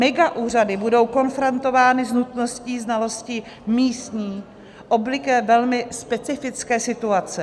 Megaúřady budou konfrontovány s nutností znalosti místní, obvykle velmi specifické situace.